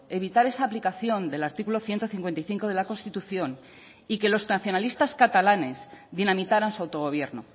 evitar esa aplicación del artículo ciento cincuenta y cinco de la constitución y que los nacionalistas catalanes dinamitaran su autogobierno